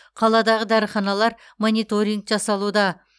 қаладағы дәріханалар мониторинг жасалуда